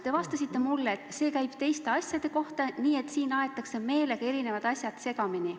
Te vastasite mulle, et see käib teiste asjade kohta, et siin aetakse meelega eri asjad segamini.